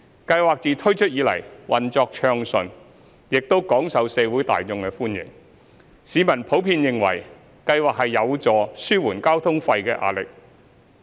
計劃自推出以來，運作暢順，亦廣受社會大眾歡迎，市民普遍認為計劃有助紓緩交通費的壓力。